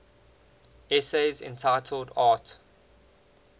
essays entitled arte